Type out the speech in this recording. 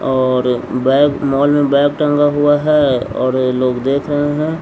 और bag mall में bag टंगा हुआ है और लोग देख रहे है --